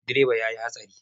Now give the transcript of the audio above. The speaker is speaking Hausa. Direban ya yi hatsari.